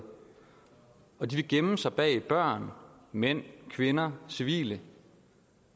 og de vil gemme sig bag børn mænd kvinder civile